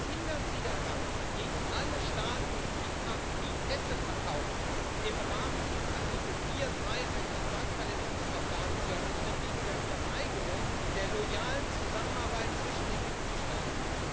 Was hindert Sie daran, gegen alle Staaten, die Pässe verkaufen, im Rahmen von Artikel 43 ein Vertragsverletzungsverfahren zu eröffnen wegen der Verweigerung der loyalen Zusammenarbeit zwischen den Mitgliedstaaten?